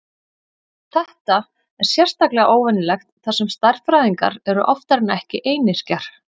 Þetta er sérstaklega óvenjulegt þar sem stærðfræðingar eru oftar en ekki einyrkjar.